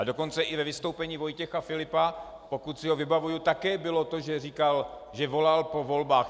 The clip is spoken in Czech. A dokonce i ve vystoupení Vojtěcha Filipa, pokud si ho vybavuji, také bylo to, že říkal, že volal po volbách.